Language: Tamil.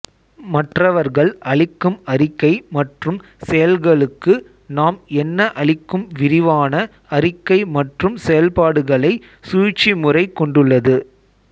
மற்றவர்கள் அளிக்கும் அறிக்கை மற்றும் செயல்களுக்கு நாம் என்ன அளிக்கும் விரிவான அறிக்கை மற்றும் செயல்பாடுகளை சூழ்ச்சிமுறை கொண்டுள்ளது